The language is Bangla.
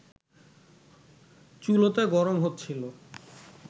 চুলোতে গরম হচ্ছিল